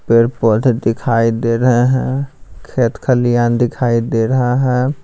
पेड़-पौधे दिखाई दे रहे हैं खेत खलियान दिखाई दे रहा है।